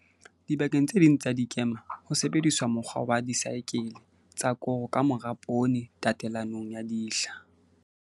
Dibakeng tse ding tsa dikema ho sebediswa mokgwa wa disaekele tsa koro ka mora poone tatelanong ya dihla.